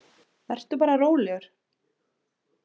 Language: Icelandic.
Vertu bara rólegur.